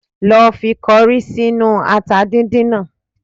Lọ fi kọrí sínú ata dídín náà